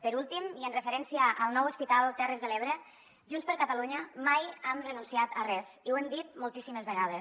per últim i en referència al nou hospital terres de l’ebre junts per catalunya mai hem renunciat a res i ho hem dit moltíssimes vegades